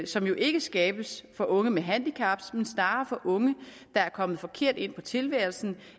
som jo ikke skabes for unge med handicap men snarere for unge der er kommet forkert ind i tilværelsen